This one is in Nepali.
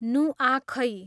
नुआखै